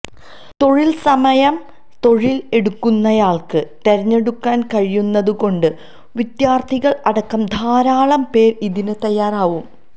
തൊഴിൽസമയം തൊഴിൽ എടുക്കുന്നയാൾക്ക് തെരഞ്ഞെടുക്കൻ കഴിയുന്നതുകൊണ്ട് വിദ്യാർത്ഥികൾ അടക്കം ധാരാളം പേർ ഇതിന് തയ്യാറവും